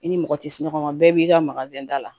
I ni mɔgɔ ti sunɔgɔ ma bɛɛ b'i ka maga da la